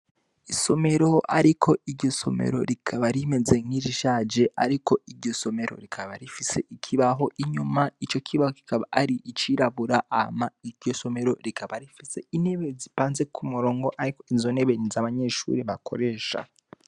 Isomero, ariko iryo somero rikaba rimeze nkinsi ishaje, ariko iryo somero rikaba rifise ikibaho inyuma ico kibaho kikaba ari icirabura ama iryo somero rikaba rifise inebe zipanze ku murongo, ariko inzo nebeni za abanyeshuri bakoresha.